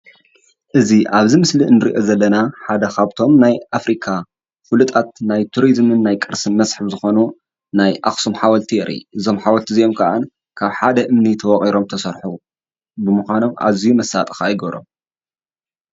እዚ ኣብዚ ምስሊ እንርእዮ ዘለና ሓደ ካብቶም ናይ ኣፍሪካ ፍሉጣት ናይ ቱሪዝምን ናይ ቅርሲ መስሕብ ዝኾኑ ናይ ኣክሱም ሓውልቲ የርኢ :: እዞም ሓወልቲ እዚኦም ካዓ ካብ ሓደ እምኒ ተወቂሮም ተሰርሑ በምኳኖም ኣዚዩ መሳጢ ከኣ ይገብሮም::